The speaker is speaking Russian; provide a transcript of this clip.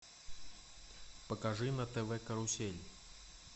покажи на тв карусель